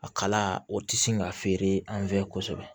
A kala o tɛ sin ka feere an fɛ kosɛbɛ